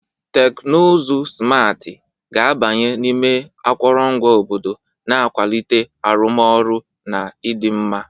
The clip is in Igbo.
Teknụzụ simarti ga-abanye n'ime akụrụngwa obodo, na-akwalite arụmọrụ na ịdị mma.